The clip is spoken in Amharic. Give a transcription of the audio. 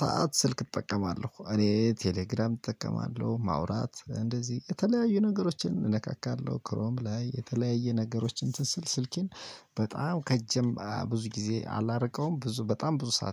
ሰዓት ስልክ እጠቀማለሁ። እኔ ቴሌግራም እጠቀማለሁ። ማውራት እንደዚህ የተለያዩ ነገሮችን እነካካለሁ። ክሮም ላይ የተለያየ ነገሮች እንትን ስል ስልኬን በጣም ከእጄም ብዙ ጊዜ አላርቀውም። ብዙ በጣም ብዙ ሰዓት